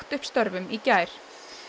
upp störfum í gær